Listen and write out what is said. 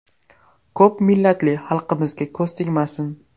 Ko‘p millatli xalqimizga ko‘z tegmasin.